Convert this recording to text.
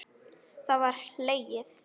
Það var hlegið.